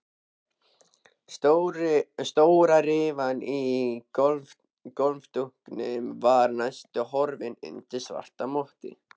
Stóra rifan í gólfdúknum var næstum horfin undir svarta mottu.